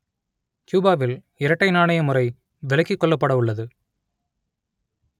கியூபாவில் இரட்டை நாணய முறை விலக்கிக் கொள்ளப்படவுள்ளது